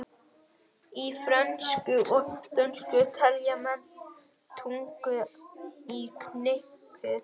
Í frönsku og dönsku telja menn tuttugu í knippið.